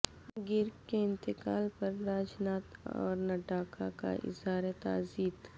گرگ کے انتقال پر راج ناتھ اور نڈا کا اظہار تعزیت